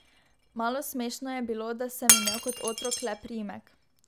Malo smešno je bilo, da sem imel kot otrok le priimek.